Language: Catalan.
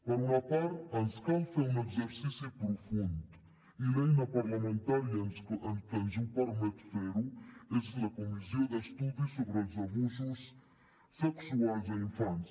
per una part ens cal fer un exercici profund i l’eina parlamentària que ens permet fer ho és la comissió d’estudi sobre els abusos sexuals a infants